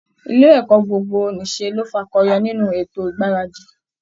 Ilé ẹ̀kọ́ gbogbo-nìṣe ló fakọyọ nínú ètò ìgbaradì